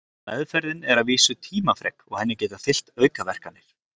Meðferðin er að vísu tímafrek og henni geta fylgt aukaverkanir.